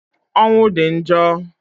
Ọnwụ di njo